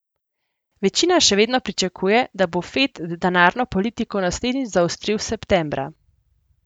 Večina še vedno pričakuje, da bo Fed denarno politiko naslednjič zaostril septembra.